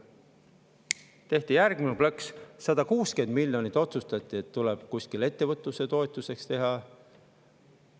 Siis tehti järgmine plõks: otsustati, et 160 miljonit tuleb kuskil ettevõtluse toetuseks.